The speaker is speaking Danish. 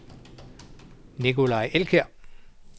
Nicolai Elkjær